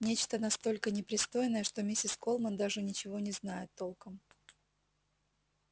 нечто настолько непристойное что миссис колмен даже ничего не знает толком